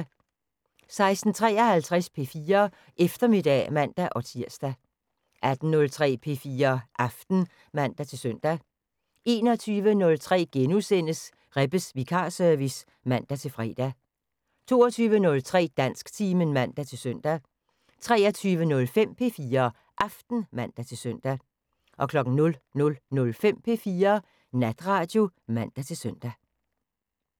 16:53: P4 Eftermiddag (man-tir) 18:03: P4 Aften (man-søn) 21:03: Rebbes vikarservice *(man-fre) 22:03: Dansktimen (man-søn) 23:05: P4 Aften (man-søn) 00:05: P4 Natradio (man-søn)